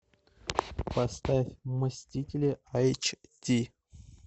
поставь мстители эйч ди